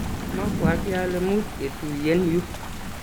mabwatii ale much ketuyen yu.